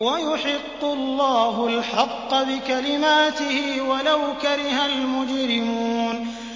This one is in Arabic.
وَيُحِقُّ اللَّهُ الْحَقَّ بِكَلِمَاتِهِ وَلَوْ كَرِهَ الْمُجْرِمُونَ